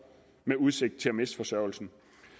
med udsigt til at miste forsørgelsen